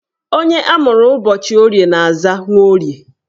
Onye amụrụ ụbọchị Orie na-aza Nworie